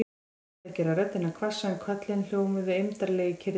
Hún reyndi að gera röddina hvassa en köllin hljómuðu eymdarlega í kyrrðinni.